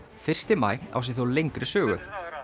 fyrsti maí á sér þó lengri sögu